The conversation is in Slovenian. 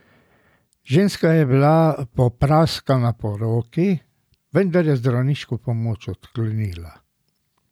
Ženska je bila popraskana po roki, vendar je zdravniško pomoč odklonila.